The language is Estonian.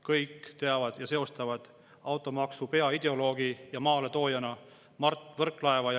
Kõik teavad automaksu peaideoloogi ja maaletoojana Mart Võrklaeva ja seostavad.